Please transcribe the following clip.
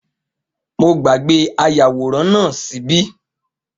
Mo gbàgbé ayàwòrán náà ṣíbí